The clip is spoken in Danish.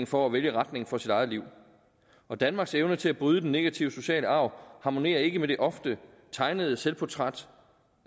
for at vælge retningen for sit eget liv danmarks evne til at bryde den negative sociale arv harmonerer ikke med det ofte tegnede selvportræt